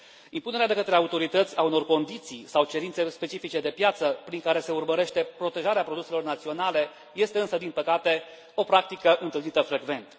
Impunerea de către autorități a unor condiții sau cerințe specifice de piață prin care se urmărește protejarea produselor naționale este însă, din păcate, o practică întâlnită frecvent.